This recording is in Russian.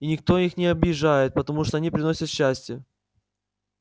и никто их не обижает потому что они приносят счастье